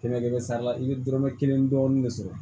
Kɛmɛ kɛmɛ sara la i bɛ dɔrɔmɛ kelen dɔɔni de sɔrɔ